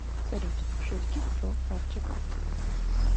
салют шутки про хавчик